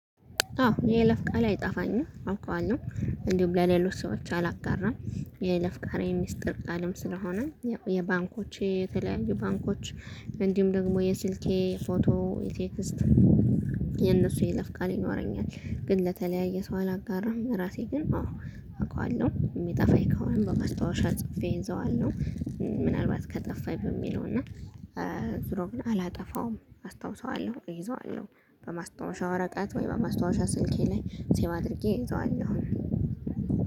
አዎ የይለፍ ቃሌ አይጠፋኝም። አውቀዋለ። እንዲሁም ለሌሎች ሰዎች አላጋራም የይለፍ ቃሌ ሚስጥር ቃልም ስለሆነ የባንኮች የተለያዩ ባንኮች እንዲሁም ደግሞ የስልኬ ፎቶ ኢቴክስት የቴክስት የነሱ የይለፍ ቃል ይኖረኛል። ግን ለተለያየ ሰው አላጋራም። ራሴ ግን አዎ አውቃለ። የሚጠፋኝ ከሆነ በመስታወሻ ጽፌ ይዘዋለሁ። ምናልባት ከጠፋኝ በሚለው እና ዙሮውን አላጠፋውም። አስታውሰዋለሁ። እይዘዋለሁ። በማስታወሻ ወረቀት ወይ በማስታወሻ ስልኬ ላይ ሲቭ አድርጌ እይዘዋአለሁኝ።